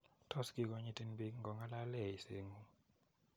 Tos kikonyitin piik ngo ng'alale eiset ng'ung' .